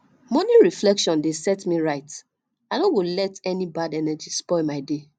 morning reflection dey set me right i no go let any bad energy spoil my day